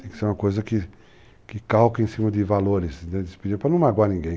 Tem que ser uma coisa que calque em cima de valores, para não magoar ninguém.